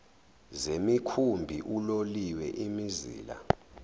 zemikhumbi uloliwe imizila